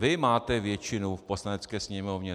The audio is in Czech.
Vy máte většinu v Poslanecké sněmovně.